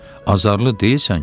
Azarlı deyilsən ki?